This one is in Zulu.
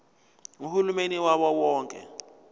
uhulumeni wawo wonke